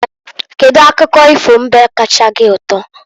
Kedu akụkọ ifo mbe kacha gị ụtọ?